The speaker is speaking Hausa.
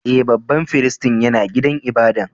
E,babban firistin ya na gidan ibada'n.